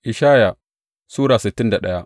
Ishaya Sura sittin da daya